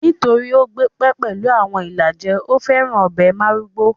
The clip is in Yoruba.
Nítorí ó gbé pẹ́ pẹ̀lú àwọn ìlàjẹ, ó féràn ọbẹ̀ márúgó